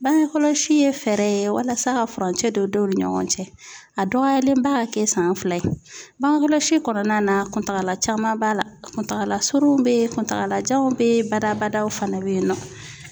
Bange kɔlɔsi ye fɛɛrɛ ye walasa ka furancɛ don denw ni ɲɔgɔn cɛ a dɔgɔyalenba ka kɛ san fila ye, bangekɔlɔsi kɔnɔna na kuntagala caman b'a la, kuntagala surun be yen, kuntagalajanw be yen, badabadaw fana be yen nɔ